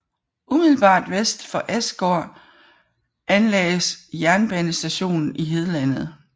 Umiddelbart vest for Åsgård anlagdes jernbanestationen Hedlandet